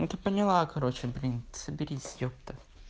ну ты поняла короче блин соберись ёпта